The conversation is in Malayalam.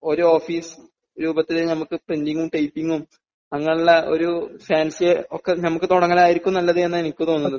ഒരു ഓഫീസ് രൂപത്തിൽ ഞമുക്ക് പ്രിൻറിംഗും ടൈപ്പിംഗും അങ്ങനെയുള്ള ഒരു ഫാൻസി ഒക്കെ ഞമുക്ക് തുടങ്ങലായിരിക്കും നല്ലത് എന്ന് എനിക്ക് തോന്നുന്നത്